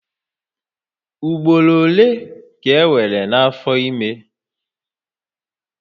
Ugboro ole ka enwere n'afọ ime?